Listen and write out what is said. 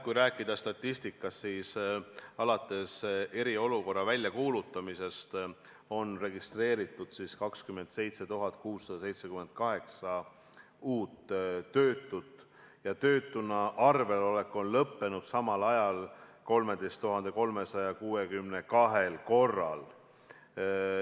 Kui rääkida statistikast, siis alates eriolukorra väljakuulutamisest on registreeritud 27 678 uut töötut, töötuna arvel olek on samal ajal lõppenud 13 362 korral.